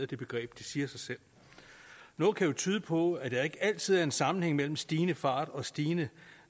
det begreb det siger sig selv noget kan jo tyde på at der ikke altid er en sammenhæng mellem stigende fart og et stigende